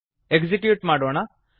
execute ಮಾಡೋಣ